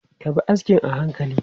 Ka bi askin a hankali!